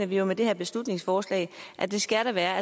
vi jo med det her beslutningsforslag at det skal der være